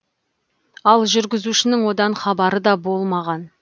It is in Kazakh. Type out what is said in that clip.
ал жүргізушінің одан хабары да болмаған